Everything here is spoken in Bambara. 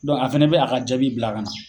a fɛnɛ be a ka jaabi bila ka na.